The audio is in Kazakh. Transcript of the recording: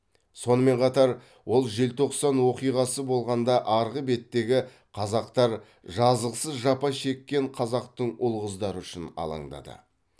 сонымен қатар ол желтоқсан оқиғасы болғанда арғы беттегі қазақтар жазықсыз жапа шеккен қазақтың ұл қыздары үшін алаңдады